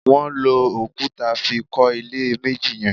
Wọn lò òkúta fí kọ ilé méjì yẹn